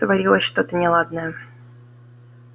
творилось что-то неладное